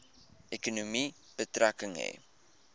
ekonomie betrekking hê